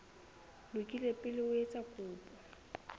lokile pele o etsa kopo